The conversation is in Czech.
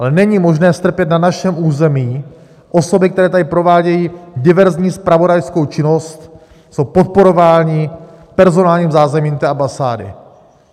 Ale není možné strpět na našem území osoby, které tady provádějí diverzní zpravodajskou činnost, jsou podporovány personálním zázemím té ambasády.